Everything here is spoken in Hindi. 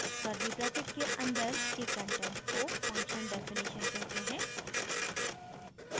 curly brackets के अंदर के कंटेंट को function definition कहते हैं